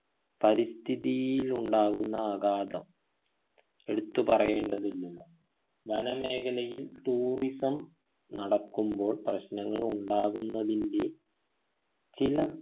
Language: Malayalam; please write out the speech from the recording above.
പരിസ്ഥിതിയിൽ ഉണ്ടാകുന്ന ആഘാതം എടുത്തു പറയേണ്ടതില്ലല്ലോ വന മേഖലയിൽ tourism നടക്കുമ്പോൾ പ്രശ്നങ്ങളുണ്ടാകുന്നതിൻ്റെ ചില